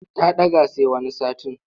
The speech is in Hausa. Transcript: Ta ɗaga sai wani satin.